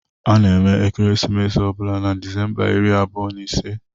A na-eme ekeresimesi ọ bụla na Disemba iri abụọ na ise